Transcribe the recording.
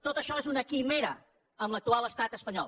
tot això és una quimera amb l’actual estat espanyol